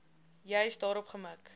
juis daarop gemik